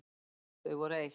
Þau voru eitt.